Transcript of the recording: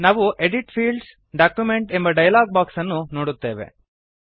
ನಾವು edit Fields document ಎಂಬ dialogue box ಅನ್ನು ನೋಡುತ್ತೇವೆ